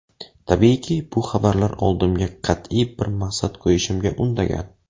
Tabiiyki, bu xabarlar oldimga qat’iy bir maqsad qo‘yishimga undagan.